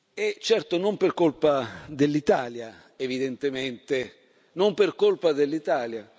E certo non per colpa dell'Italia, evidentemente, non per colpa dell'Italia.